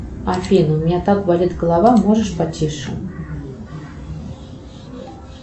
афина у меня так болит голова можешь потише